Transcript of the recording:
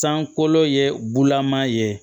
Sankolo ye bulaman ye